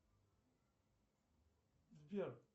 сбер